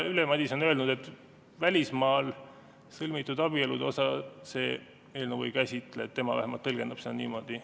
Ülle Madise on öelnud, et välismaal sõlmitud abielude osa see eelnõu ei käsitle, tema vähemalt tõlgendab seda niimoodi.